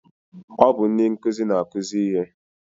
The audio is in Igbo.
Ọ bụ ndị nkụzi na-akụzi ihe